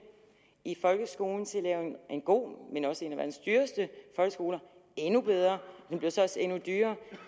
i folkeskolen til at lave en god men også en af verdens dyreste endnu bedre den bliver så også endnu dyrere